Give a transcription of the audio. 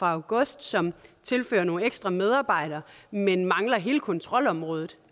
august som tilførte nogle ekstra medarbejdere men mangler hele kontrolområdet